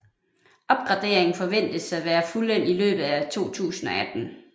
Opgraderingen forventes at være fuldendt i løbet af 2018